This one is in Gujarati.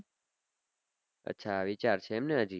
અચ્છા વિચાર સે ને એમ હજી